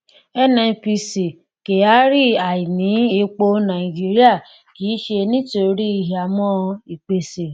nnpc kyari: àìní epo nàìjíríà kì í ṣe nítorí ìhámọ́ ìpèsè.